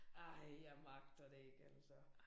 Ej jeg magter det ikke altså